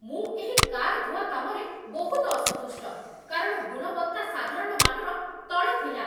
ମୁଁ ଏହି କାର୍ ଧୁଆ କାମରେ ବହୁତ ଅସନ୍ତୁଷ୍ଟ, କାରଣ ଗୁଣବତ୍ତା ସାଧାରଣ ମାନର ତଳେ ଥିଲା।